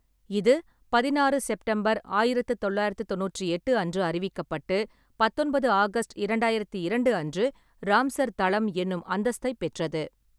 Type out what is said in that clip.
இது பதினாறு செப்டம்பர் ஆயிரத்து தொள்ளாயிரத்து தொண்ணூற்றி எட்டு அன்று அறிவிக்கப்பட்டு, பத்தொன்பது ஆகஸ்ட் இரண்டாயிரத்து இரண்டு அன்று ராம்சர் தளம் என்னும் அந்தஸ்தைப் பெற்றது.